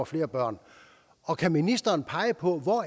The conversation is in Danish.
flere børn og kan ministeren pege på hvor